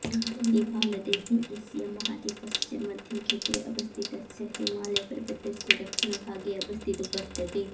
नेपालदेश Asia महाद्वीपस्य मध्यक्षेत्रे अवस्थितस्य हिमालयपर्वतस्य दक्षिणभागे अवस्थितो वर्तते